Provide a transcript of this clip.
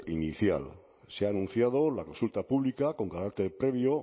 inicial se ha anunciado la consulta pública con carácter previo